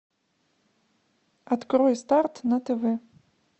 открой старт на тв